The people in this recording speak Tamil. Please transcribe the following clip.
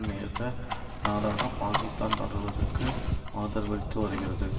நேச நாடாக பாக்கிஸ்தான் தொடர்வதற்கு ஆதரவளித்து வருகிறது